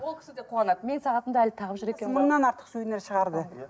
ол кісі де қуанады менің сағатымды әлі тағып жүр екен ғой мыңнан артық сувенир шығарды